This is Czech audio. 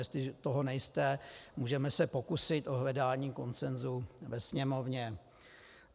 Jestliže toho nejste, můžeme se pokusit o hledání konsenzu ve Sněmovně.